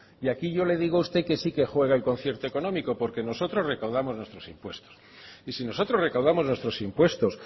y aquí yo le digo a usted que sí que juega el concierto económico porque nosotros recaudamos nuestros impuestos y si nosotros recaudamos nuestros impuestos